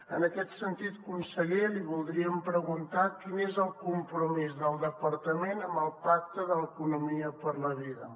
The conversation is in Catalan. en aquest sentit conseller li voldríem preguntar quin és el compromís del departament amb el pacte de l’economia per la vida